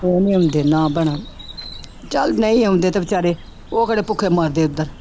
ਉਹ ਨੀ ਆਉਂਦੇ ਨਾ ਭੈਣਾ ਚੱਲ ਨਹੀਂ ਆਉਂਦੇ ਤੇ ਬੇਚਾਰੇ ਉਹ ਕਿਹੜਾ ਭੁੱਖੇ ਮਰਦੇ ਉੱਧਰ।